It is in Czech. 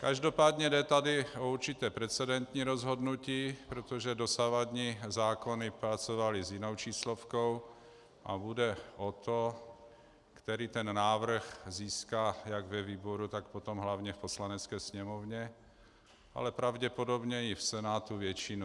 Každopádně jde tady o určité precedentní rozhodnutí, protože dosavadní zákony pracovaly s jinou číslovkou a půjde o to, který ten návrh získá jak ve výboru, tak potom hlavně v Poslanecké sněmovně, ale pravděpodobně i v Senátu většinu.